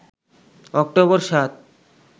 October ৭